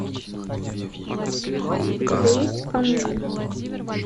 у тебя есть кануны